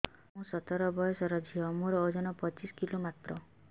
ମୁଁ ସତର ବୟସର ଝିଅ ମୋର ଓଜନ ପଚିଶି କିଲୋ ମାତ୍ର